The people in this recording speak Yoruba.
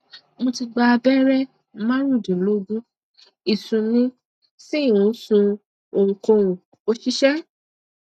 mo ti gba abere marundinlogun isun mi si n sun ohunkohun ko ṣiṣẹ